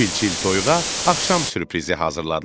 Çil-çil toyuğa axşam sürprizi hazırladılar.